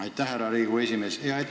Aitäh, härra Riigikogu esimees!